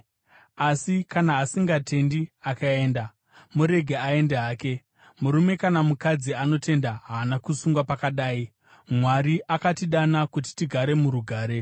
Asi kana asingatendi akaenda, murege aende hake. Murume kana mukadzi anotenda haana kusungwa pakadai; Mwari akatidana kuti tigare murugare.